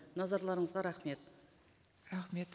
назарларыңызға рахмет рахмет